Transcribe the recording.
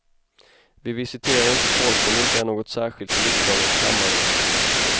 Vi visiterar inte folk om det inte är något särskilt i riksdagens kammare.